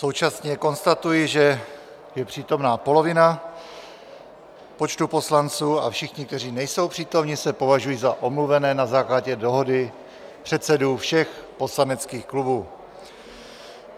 Současně konstatuji, že je přítomna polovina počtu poslanců, a všichni, kteří nejsou přítomni, se považují za omluvené na základě dohody předsedů všech poslaneckých klubů.